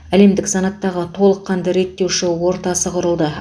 әлемдік санаттағы толыққанды реттеуші ортасы құрылды